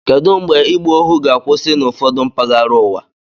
Kedụ mgbe ịgba ohu ga-akwụsị n'ụfọdụ mpaghara ụwa?